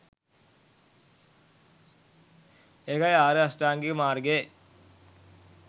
ඒකයි ආර්ය අෂ්ටාංගික මාර්ගයේ